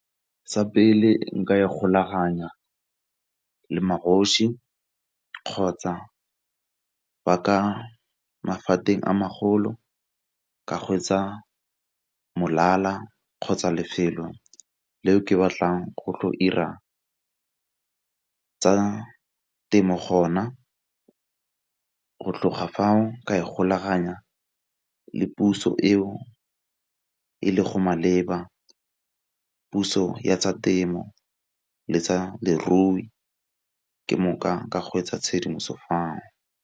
Sa pele nka e golaganya le magoši kgotsa ba ka a magolo ka go kgotsa lefelo leo ke batlang go tlo 'ira tsa temo gona. Go tloga fao ka ikgolaganya le puso eo e le go maleba, puso ya tsa temo le tsa lerui ke mo ka hwetša tshedimoso fao.